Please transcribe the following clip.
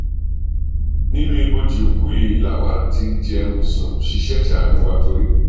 nínú ibojì òkú yìí làwa ti ń jẹun sún ṣiṣẹ ẹ ṣàánú wa torí